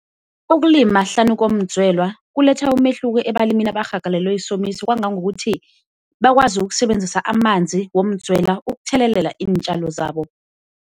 Ukulima hlanu komdzwelwa kuletha umehluko ebalimini abarhagalelwe yisomiso kwangangokuthi bakwazi ukusebenzisa amanzi womudzwela ukuthelelela iintjalo zabo.